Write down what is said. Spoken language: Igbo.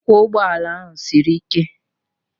Ịkwọ ụgbọ ala m siri ike